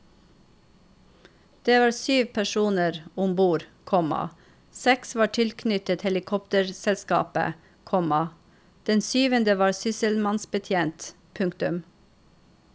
Det var syv personer om bord, komma seks var tilknyttet helikopterselskapet, komma den syvende var sysselmannsbetjent. punktum